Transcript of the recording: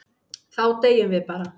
Þá deyjum við bara.